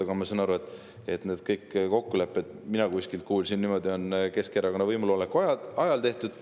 Aga ma olen aru saanud, nii palju, kui mulle kõrvu on jäänud, et kõik need kokkulepped – mina kuskilt kuulsin niimoodi – on Keskerakonna võimuloleku ajal tehtud.